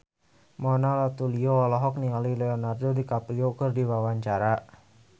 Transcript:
Mona Ratuliu olohok ningali Leonardo DiCaprio keur diwawancara